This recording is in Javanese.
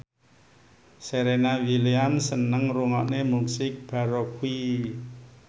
Serena Williams seneng ngrungokne musik baroque